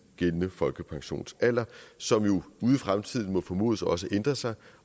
gældende folkepensionsalder som jo ude i fremtiden må formodes også at ændre sig